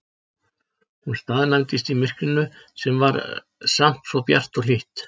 Hún staðnæmdist í myrkrinu sem var samt svo bjart og hlýtt.